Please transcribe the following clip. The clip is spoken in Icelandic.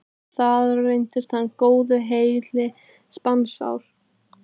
Þar reyndist hann góðu heilli sannspár.